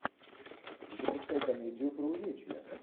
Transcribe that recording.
запускай комедию про увечья